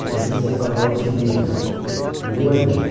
Muitas vezes tinha quatro aulas seguidas, ninguém mais entra.